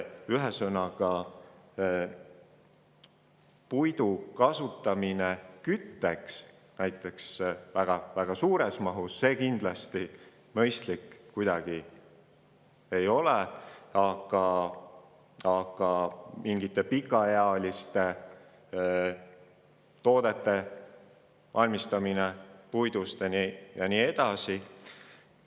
Ühesõnaga, puidu väga suures mahus kasutamine kütteks mõistlik ei ole, aga puidust pikaealiste toodete valmistamine on teine asi.